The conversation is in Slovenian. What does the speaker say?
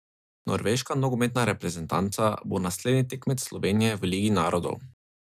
Norveška nogometna reprezentanca bo naslednji tekmec Slovenije v ligi narodov.